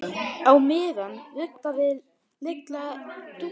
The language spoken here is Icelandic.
Á meðan ruggaði Lilla Dúllu.